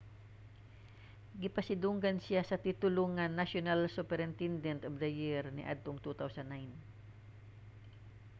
gipasidunggan siya sa titulo nga national superintendent of the year niadtong 2009